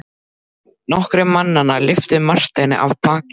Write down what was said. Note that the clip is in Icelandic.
Nokkrir mannanna lyftu Marteini af baki.